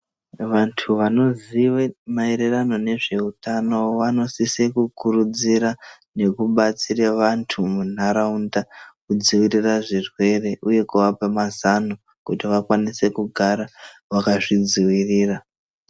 Vantu vanoziye maererano nezveutano vanosise kukuridzira nekubatsira vantu mundaraunda kudzivirira zvirwere uye kuvapa mazano kuti vakwanise kugara vakazvi dzivirira.